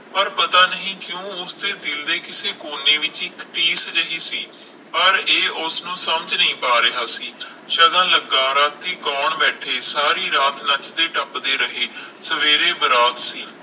ਪਰ ਪਤਾ ਨਹੀਂ ਕਿਊ ਉਸ ਦੇ ਦਿਲ ਦੇ ਕਿਸੇ ਕੋਨੇ ਵਿਚ ਕੋਈ ਠੇਸ ਜਿਹੀ ਸੀ ਪਰ ਇਹ ਉਸਨੂੰ ਨੂੰ ਸਮਜ ਨਹੀਂ ਪਾ ਰਿਹਾ ਸੀ ਸ਼ਗੁਨ ਲਗਾ ਰਾਤੀ ਗੌਣ ਬੈਠੇ ਸਾਰੀ ਰਾਤ ਨੱਚਦੇ ਟੱਪਦੇ ਰਹੇ ਸਵੇਰੇ ਬਰਾਤ ਸੀ